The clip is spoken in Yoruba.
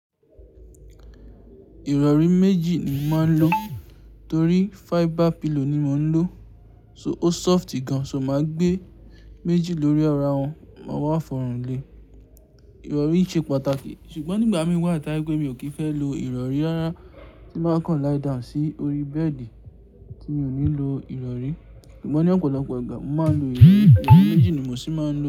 Ìrọ̀rí méjì ni mo máa ń lo torí fiber pillow ni mo ń lò, so ó soft gan. So máa gbé méjì lórí ara wọn, máa wá fọ̀rùn lé. Ìrọ̀rí ṣe pàtàkì ṣùgbọ́n nígbà mí wà tójẹ́ pé mi ò kí fẹ́ lo ìrọ̀rí rárá, tí màá kan láì dà sí orí bẹ́ẹ̀dì tí mi ò ní lo ìrọ̀rí. Ṣùgbọ́n ní ọ̀pọ̀lọpọ̀ ìgbà mo máa ń lo èyí, ìrọ̀rí méjì ni mo sì máa ń lò.